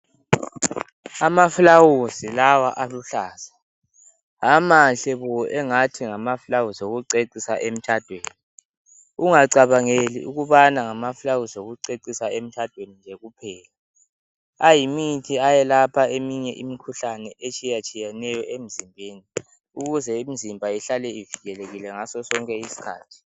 Amaflawuzi lawa aluhlaza amahle bo engathi ngamaflawuzi okucecisa emtshadweni ungacabangeli ukubana ngamaflawuzi okucecisa emtshadweni nje kuphela, ayimithi ayelapha eminye imikhuhlane etshiye tshiyeneyo emzimbeni ukuze imizimba ihlale ivikelelekile ngaso sonke isikhathi.